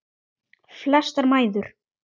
Flestar mæður.